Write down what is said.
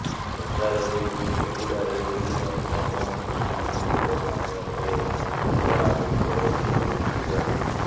ବଜାରରୁ ପରିବା ହେଉ କିମ୍ବା ଅନ୍ୟ କୌଣସି ସାମଗ୍ରୀ ଘରକୁ ଆଣିବା ପରେ ଅଲୋଡା ହୋଇପଡେ ପଲିଥିନ୍ ବ୍ୟାଗ୍